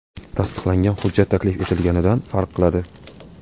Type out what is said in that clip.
Tasdiqlangan hujjat taklif etilganidan farq qiladi.